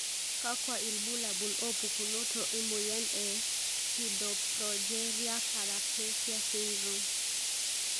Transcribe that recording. kakwa ilbulabul opukunoto emoyian e pseudoprogeria paraplefia syndrome?